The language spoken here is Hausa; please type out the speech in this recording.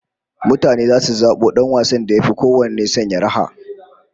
Mutane zasu zabo dan wasan da yafi kowanne sanya raha